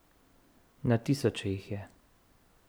Na tisoče jih je.